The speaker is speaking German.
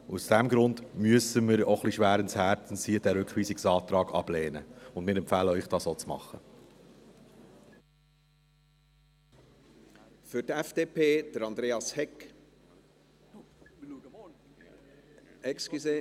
Aus diesem Grund müssen wir, auch ein wenig schweren Herzens, diesen Rückweisungsantrag ablehnen, und wir empfehlen Ihnen, dies auch zu tun.